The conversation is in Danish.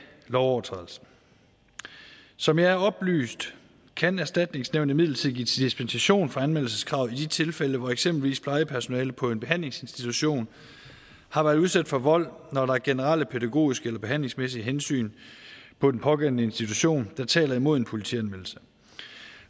lovovertrædelsen som jeg er oplyst kan erstatningsnævnet imidlertid give dispensation for anmeldelseskravet i de tilfælde hvor eksempelvis plejepersonalet på en behandlingsinstitution har været udsat for vold når der er generelle pædagogiske eller behandlingsmæssige hensyn på den pågældende institution der taler imod en politianmeldelse